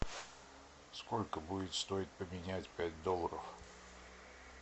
сколько будет стоить поменять пять долларов